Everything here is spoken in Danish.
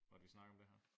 Måtte vi snakke om det her